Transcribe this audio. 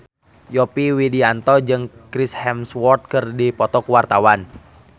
Yovie Widianto jeung Chris Hemsworth keur dipoto ku wartawan